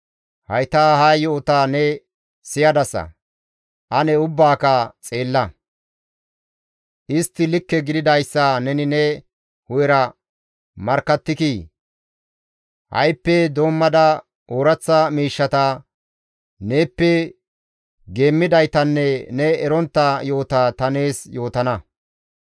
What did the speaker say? «Hayta ha yo7ota ne siyadasa; ane ubbaaka xeella; istti likke gididayssa neni ne hu7era markkattikii? Ha7ippe doommada ooraththa miishshata, neeppe geemmidaytanne ne erontta yo7ota ta nees yootana.